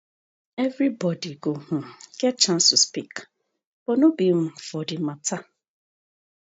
evribodi go um get chance to speak but no be um for di matter